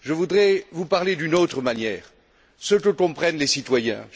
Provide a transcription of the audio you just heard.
Je voudrais vous parler d'une autre manière, ce que comprennent les citoyens.